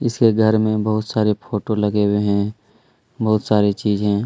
इसके घर में बहुत सारे फोटो लगे हुए हैं बहुत सारी चीजें--